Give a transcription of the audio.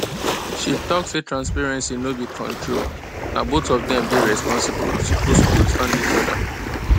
she talk say transparency no be control na both of them day responsible and suppose understand each other